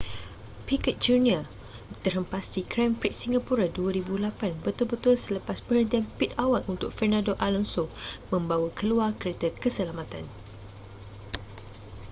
piquet jr terhempas di grand prix singapura 2008 betul-betul selepas perhentian pit awal untuk fernando alonso membawa keluar kereta keselamatan